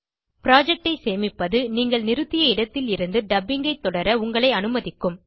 project ஐ சேமிப்பது நீங்கள் நிறுத்திய இடத்திலிருந்து டப்பிங் ஐ தொடர உங்களை அனுமதிக்கும்